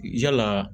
Yala